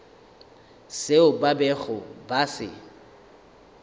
seo ba bego ba se